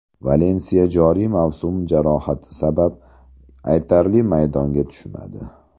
Valensiya joriy mavsum jarohati sabab aytarli maydonga tushmadi.